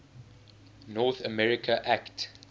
north america act